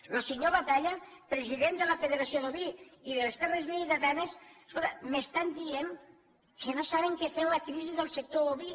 lo senyor batalla president de la federació d’oví i de les terres lleidatanes escolta m’estan dient que no saben què fer en la crisi del sector oví